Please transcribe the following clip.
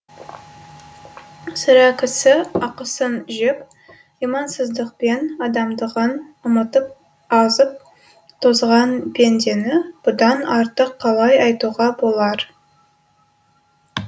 сірә кісі ақысын жеп имансыздықпен адамдығын ұмытып азып тозған пендені бұдан артық қалай айтуға болар